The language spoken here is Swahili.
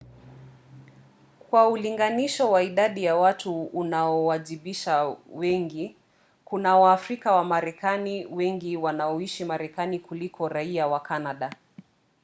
kwa ulinganisho wa idadi ya watu unaowaajabisha wengi: kuna waafrika wamarekani wengi wanaoishi marekani kuliko raia wa kanada